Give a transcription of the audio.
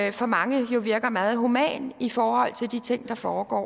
jo for mange virker meget humant i forhold til de ting der foregår